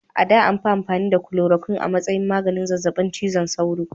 A da, an fi amfani da chloroquine a matsayin maganin zazzabin cizon sauro.